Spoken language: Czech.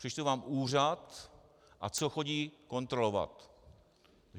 Přečtu vám úřad, a co chodí kontrolovat.